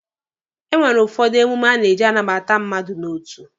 E nwere ụfọdụ emume a na-aji anabata mmadụ n'otu